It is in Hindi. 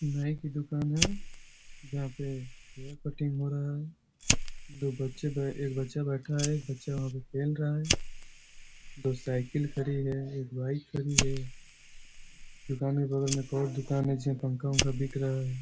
नाई की दुकान है जहाँ पे हेयर कटिंग हो रहा है दो बच्चे बे एक बच्चा वहाँ पे बैठा है एक बच्चा वहाँ पे खेल रहा है दो साइकिल खड़ी है एक बाईक खड़ी है दुकान के बगल में एक और दुकान है जिसमे पंखा-ऊंखा बिक रहा हैं।